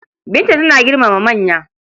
Binta tana girmama manya.